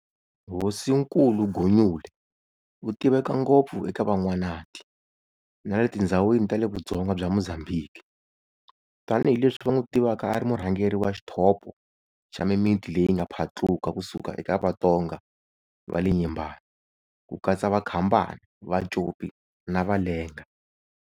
Hosinkulu Gunyule u tiveka ngopfu eka Van'wanati, na le tindzhawini ta le vudzonga bya Mozambique, tani hi leswi va n'wu tivaka a ri murhangeri wa xithopo xa mimiti leyi yi nga phatluka ku suka eka Vatonga va le Nyembani ku katsa va Khambane, Vacopi, na Valenga.